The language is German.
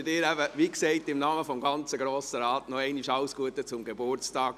Ich wünsche Ihnen im Namen des Grossen Rates nochmals alles Gute zum 35. Geburtstag!